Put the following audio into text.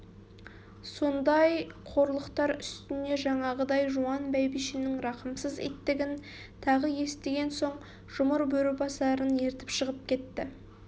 сондай қорлықтар үстіне жаңағыдай жуан бәйбішенің рақымсыз иттігін тағы естіген соң жұмыр бөрібасарын ертіп шығып кетті